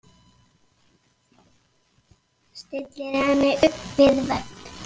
Stillir henni upp við vegg.